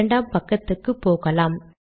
இரண்டாம் பக்கத்துக்கு போகலாம்